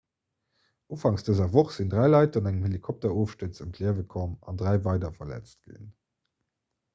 ufangs dëser woch sinn dräi leit an engem helikopterofstuerz ëm d'liewe komm an dräi weider verletzt ginn